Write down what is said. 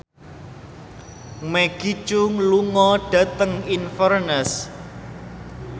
Maggie Cheung lunga dhateng Inverness